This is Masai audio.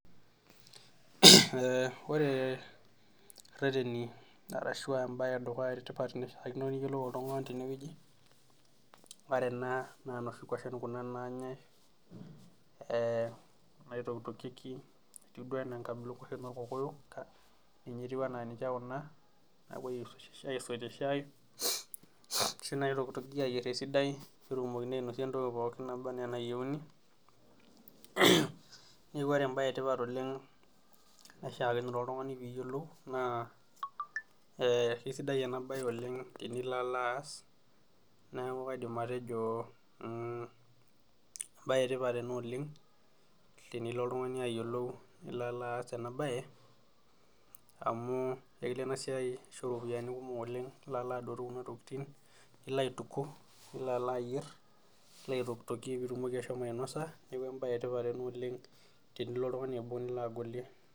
Ore ireteni ashua embae etipat naifaa oltungani niyiolou teneweji ,ore kuna naa noshi kwashen kuna naanyae naitokitokieki etiu duo enaa enkabila okwashen orkokoyok, ninye etumoki enaa niche kuna naapoi aisotie shaai ,ashu naotokitokieki esidai peyie enosieki entoki pookin naba ena enayieuni ,neku ore embae etipat naishaakinore oltungani pee iyiolou naa keisidai ena bae oleng tinilo alo aas ,neeku kaidim atejo embae etipat ena oleng tenilo oltungani alo ayiolou nilo aas ena bae amu ekilo ena bae aisho ropiyiani kumok oleng tenilo alo aturuto kuna tokiting nilo atituku ,nilo alo ayier nilo aitokitokie pee itumoki asho ainosa neeku embae etipat ena oleng tenilo oltungani abol nilo agolie.